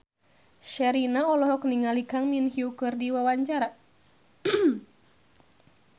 Sherina olohok ningali Kang Min Hyuk keur diwawancara